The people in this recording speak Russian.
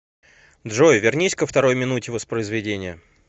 джой вернись ко второй минуте воспроизведения